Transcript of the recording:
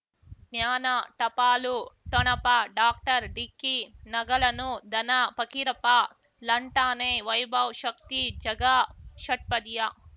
ಜ್ಞಾನ ಟಪಾಲು ಠೊಣಪ ಡಾಕ್ಟರ್ ಢಿಕ್ಕಿ ಣಗಳನು ಧನ ಫಕೀರಪ್ಪ ಳಂಟಾನೆ ವೈಭವ್ ಶಕ್ತಿ ಝಗಾ ಷಟ್ಪದಿಯ